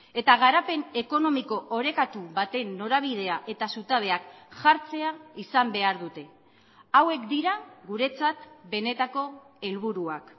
eta garapen ekonomiko orekatu baten norabidea eta zutabeak jartzea izan behar dute hauek dira guretzat benetako helburuak